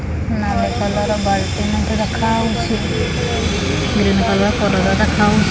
ନାଲି କଲର ବାଲ୍ଟି ମଧ୍ୟ ରଖାହେଇଛି ଗ୍ରୀନ କଲର ଦେଖାହୋଉଛି।